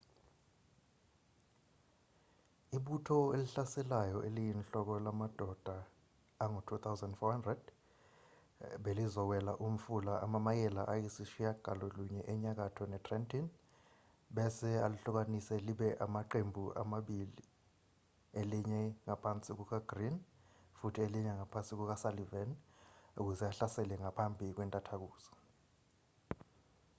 ibutho elihlaselayo eliyinhloko lamadoda angu-2,400 belizowela umfula amamayela ayisishiyagalolunye enyakatho netrenton bese alihlukanise libe amaqembu amabili elinye ngaphansi kukagreene futhi elinye ngaphansi kukasullivan ukuze ahlasele ngaphambi kwentathakusa